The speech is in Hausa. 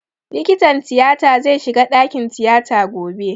Likitan tiyata zai shiga ɗakin tiyata gobe